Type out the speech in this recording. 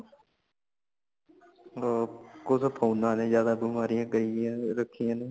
ਹੋਰ ਓਥੇ phone ਆ ਨੇ ਜਾਦਾ ਬਿਮਾਰੀਆਂ ਕਈਆਂ ਰੱਖਿਆ ਨੇ